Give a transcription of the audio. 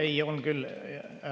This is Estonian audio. Ei, on küll …